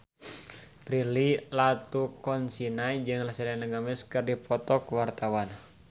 Prilly Latuconsina jeung Selena Gomez keur dipoto ku wartawan